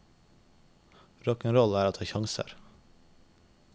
Rock'n roll er å ta sjanser.